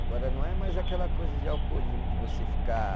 Agora não é mais aquela coisa de alcoolismo, de você ficar